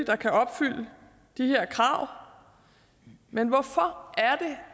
kan opfylde de her krav men hvorfor